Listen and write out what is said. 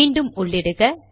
மீண்டும் உள்ளிடுக